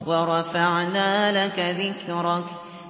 وَرَفَعْنَا لَكَ ذِكْرَكَ